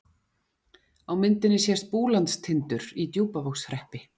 Á myndinni sést Búlandstindur í Djúpavogshreppi.